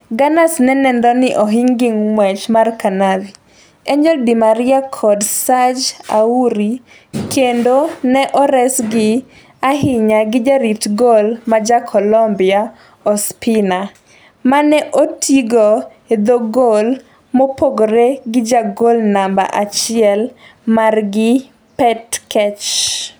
Gunners ne nenore ni ohing gi ng'wech mar Cavani, Angel di Maria kod Serge Aurier kendo ne oresgi ahinya gi jarit gol ma ja Colombia Ospina, mane otigo e dho gol mopogore gi jagol namba achiel margi Petr Cech.